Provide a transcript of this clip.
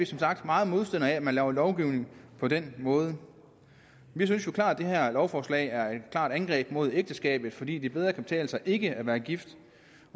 som sagt meget modstandere af at man laver lovgivning på den måde vi synes jo klart at det her lovforslag er et angreb på ægteskabet fordi det bedre kan betale sig ikke at være gift